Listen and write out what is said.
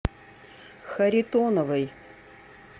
харитоновой